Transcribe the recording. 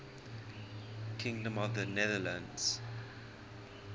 kingdom of the netherlands